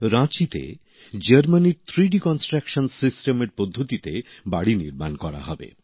রাঁচিতে তে জার্মানির ত্রিমাত্রিক নির্মাণ পদ্ধতিতে বাড়ি নির্মাণ করা হবে